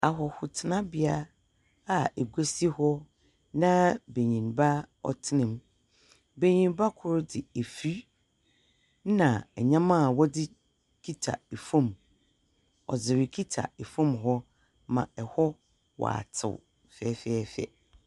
Ahɔho tsenabea a egwa si hɔ na banyinba ɔtsena mu. Banyinba kor dze afiri na nyɛma a wɔdze kita ɛfom, ɔdze rekita ɛfom hɔ ma ɛhɔ watsew fɛɛfɛɛfɛ.